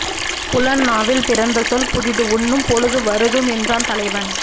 புலன் நாவில் பிறந்த சொல் புதிது உண்ணும் பொழுது வருதும் என்றான் தலைவன்